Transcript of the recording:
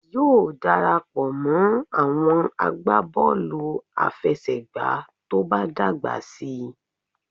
Yóò darapọ̀ mọ́ àwọn agbábọ̀ọ̀lù àfẹsẹ̀gbá tó bá dàgbà síi